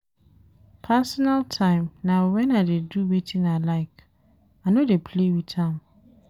Personal time na wen I dey do wetin I like, I no dey play wit am.